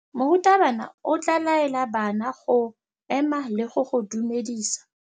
Morutabana o tla laela bana go ema le go go dumedisa.